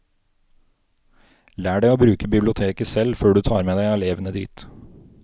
Lær deg å bruke biblioteket selv før du tar med deg elevene dit.